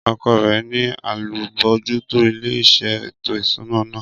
Ọkọ rẹ̀ ni alábòójútó ilé iṣẹ́ ètò ìṣúná náà